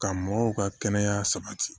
Ka mɔgɔw ka kɛnɛya sabati